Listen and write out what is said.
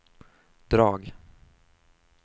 drag